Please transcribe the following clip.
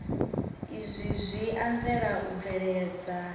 izwi zwi anzela u bveledza